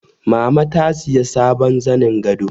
Mama ta sayi sabon zanin gado